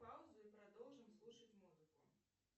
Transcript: паузу и продолжим слушать музыку